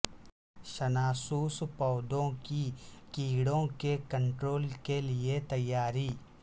شناسوس پودوں کی کیڑوں کے کنٹرول کے لئے تیاری